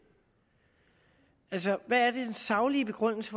altså hvad den saglige begrundelse